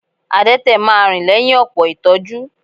Adẹ́tẹ̀ máa rìn lẹ́yìn ọ̀pọ̀ ìtọ́jú